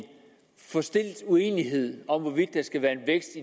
forstilt uenighed om hvorvidt der skal være